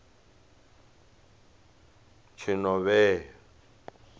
tshinovhea